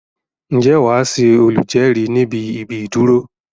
Ǹjẹ́ wàá Ṣe olùjérìí níbi íbi ìdúró